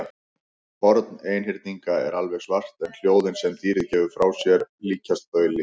Horn einhyrninga er alveg svart en hljóðin sem dýrið gefur frá sér líkjast bauli.